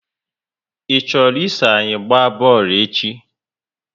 I chọrọ iso anyi gba boolu echi?